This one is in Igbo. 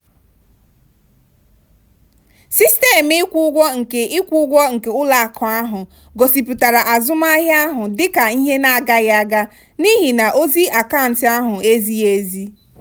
sistemụ ịkwụ ụgwọ nke ịkwụ ụgwọ nke ụlọakụ ahụ gosipụtara azụmahịa ahụ dị ka ihe na-agaghị aga n'ihi na ozi akaụntụ ahụ ezighị ezi.